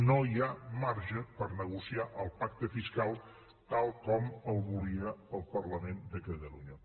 no hi ha marge per negociar el pacte fiscal tal com el volia el parlament de catalunya